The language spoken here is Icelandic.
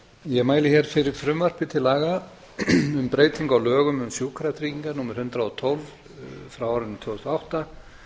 ég mæli fyrir frumvarpi til laga um breytingu á lögum um sjúkratryggingar númer hundrað og tólf tvö þúsund og átta